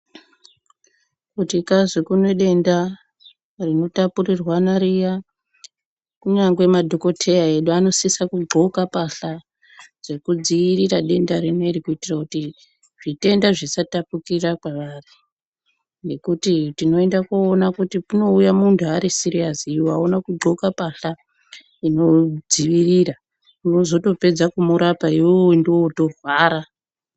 Kuti kwai kune denda rinotapurirwana riya kunyangwe madhokoteya edu anosisa kudhloka mbasha dzekudzivirira denda rineri kuitira kuti zvitenda zvisatapukira kwavari nekuti tinoenda koona kuti kunouya muntu ari siriyasi iwe auna kudhloka mbasha inodzivirira unozotopedza kumurapa iwewe ndiwe wotorwara.